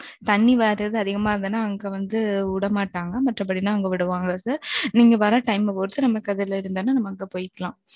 தண்ணி வராது, அதிகமா இருந்ததுன்னா, அங்க வந்து, விட மாட்டாங்க. மற்றபடிலாம், அவங்க விடுவாங்க. நீங்க வர்ற time அ பொறுத்து, நமக்கு, அதுல இருந்ததுன்னா, நம்ம அங்க போயிக்கலாம்